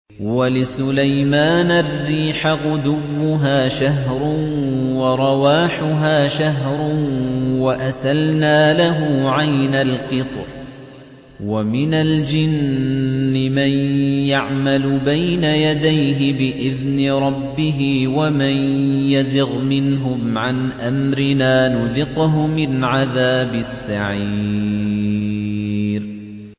وَلِسُلَيْمَانَ الرِّيحَ غُدُوُّهَا شَهْرٌ وَرَوَاحُهَا شَهْرٌ ۖ وَأَسَلْنَا لَهُ عَيْنَ الْقِطْرِ ۖ وَمِنَ الْجِنِّ مَن يَعْمَلُ بَيْنَ يَدَيْهِ بِإِذْنِ رَبِّهِ ۖ وَمَن يَزِغْ مِنْهُمْ عَنْ أَمْرِنَا نُذِقْهُ مِنْ عَذَابِ السَّعِيرِ